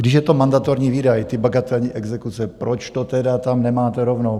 Když je to mandatorní výdaj, ty bagatelní exekuce, proč to tedy tam nemáte rovnou?